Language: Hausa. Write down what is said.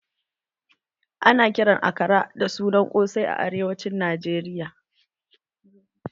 Ana kiran akara da suna ƙosai a arewacin Najeriya